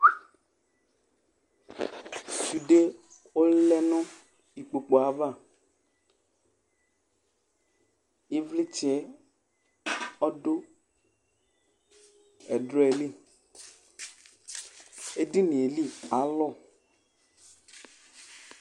Sudé ɔlɛ nu ikpokpué ava ivlitsɛ ɔdu ɛdrɔɛ li édinié li ka lu